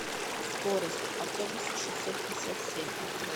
скорость автобус шестьсот пятьдесят семь открой